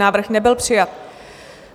Návrh nebyl přijat.